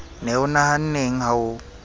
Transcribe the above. ne o nahanneng ha o